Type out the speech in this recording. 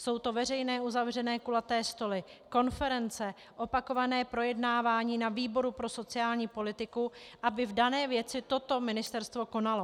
Jsou to veřejné - uzavřené kulaté stoly, konference, opakované projednávání na výboru pro sociální politiku, aby v dané věci toto ministerstvo konalo.